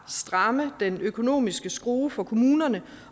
stramme den økonomiske skrue for kommunerne